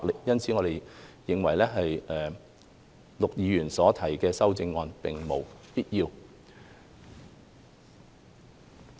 因此，我們認為陸議員所提的擬議修正案並無必要。